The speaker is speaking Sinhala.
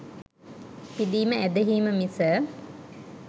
පිදීම ඇදහීම මිස